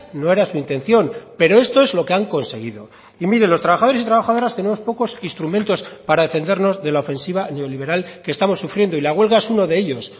no era su intención pero esto es lo que han conseguido y mire los trabajadores y trabajadoras tenemos pocos instrumentos para defendernos de la ofensiva neoliberal que estamos sufriendo y la huelga es uno de ellos